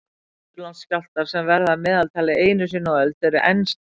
Suðurlandsskjálftar, sem verða að meðaltali einu sinni á öld, eru enn stærri.